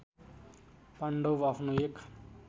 पाण्डव आफ्नो एक